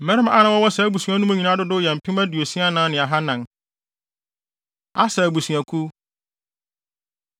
Mmarima a na wɔwɔ saa mu no nyinaa dodow yɛ mpem aduosia anan ne ahannan (64,400). Aser Abusuakuw